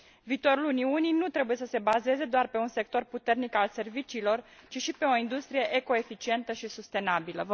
Viitorul Uniunii nu trebuie să se bazeze doar pe un sector puternic al serviciilor, ci și pe o industrie eco eficientă și sustenabilă.